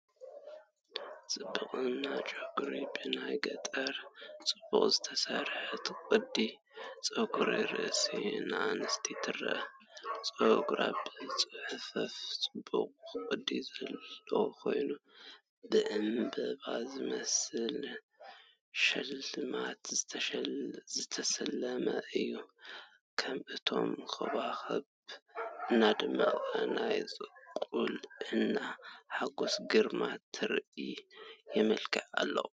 ጽብቕትን ጨጉራ ብናይ ገጠርን ብጽቡቕ ዝተሰርሐትን ቅዲ ጸጉሪ ርእሲ ንእስቲ ትረአ። ጸጉራ ብጽፉፍን ጽቡቕን ቅዲ ዘለዎ ኮይኑ፡ ብዕምባባ ዝመስል ሽልማት ዝተሰለመ እዩ። ከም ንእሽቶይ ኮኾብ እናደመቐ ናይ ቁልዕነት ሓጎስን ግርማን ትርኢት የመልክት ኣሎ።